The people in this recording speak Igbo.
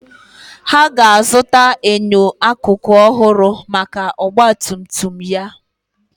Ha ga-azụta enyo akụkụ ọhụrụ maka ọgba tum tum ya.